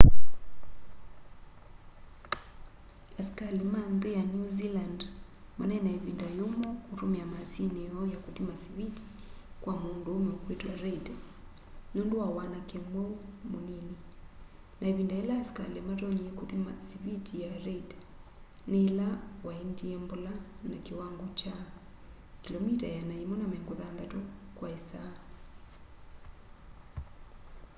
asikali ma nthi ya new zealand manai na ivinda yumu kutumia maasini yoo ya kuthima siviti kwa munduume ukwitwa reid nundu wa wanake mwiu munini na ivinda ila asikali matonyie kuthima siviti ya reid ni ila waendie mbola na kiwango kya 160km/h